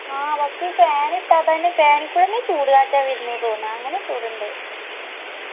ആ പക്ഷെ fan ഇട്ടാ തന്നെ fan ഇ കൂടെന്നെ ചൂടുകാറ്റാ വെര്ണ് തൊന്ന്വ അങ്ങന ചൂടിൻഡ്